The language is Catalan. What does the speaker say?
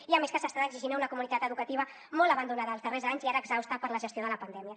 i a més que s’estan exigint a una comunitat educativa molt abandonada els darrers anys i ara exhausta per la gestió de la pandèmia